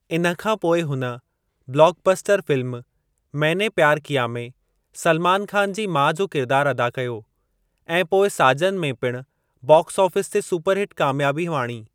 इन खां पोइ हुन blockbuster film Maine Pyar Kiya में सल्मान ख़ान जी माउ जो किरिदारु अदा कयो ऐं पोइ साजन में पिणु बाक्स आफ़ीस ते सुपरहिट कामयाबी माणी।